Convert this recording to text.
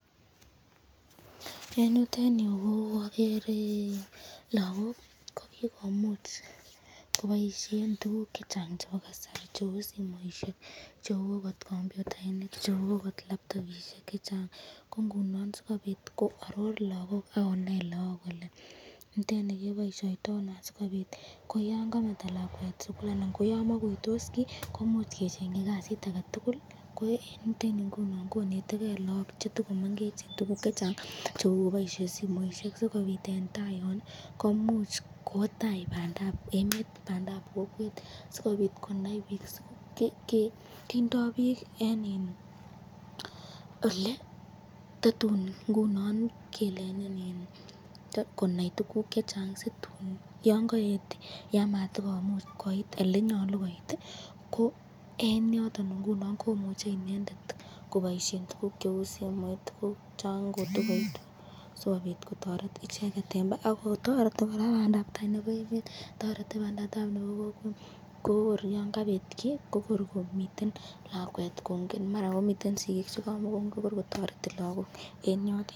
Eng yutenyu ko agere lagok kokikomuch koboishen tukuk chechang chebo kasari cheu simoisyek ,cheu computainik ,cheu ako laptopishek ak tukuk chechang ko inguni asikobit koaror lagok akonai lagok kole niteni keboishoyto ano asikobit, ko yan kameto lakwet sukul anan koyan makuytos kiy koimuch kechenkyi kasit ake tukul, eng yutenyu ngunon koneteken lagok chetakomengechen tukuk chechang sikobit bandab tai.